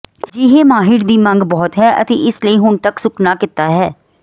ਅਜਿਹੇ ਮਾਹਿਰ ਦੀ ਮੰਗ ਬਹੁਤ ਹੈ ਅਤੇ ਇਸ ਲਈ ਹੁਣ ਤੱਕ ਸੁੱਕ ਨਾ ਕੀਤਾ ਹੈ